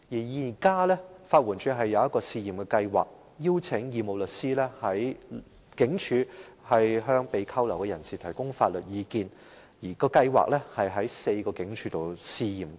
法援署現時推出了一項試驗計劃，邀請義務律師在警署向被拘留人士提供法律意見，試驗計劃正於4間警署推行。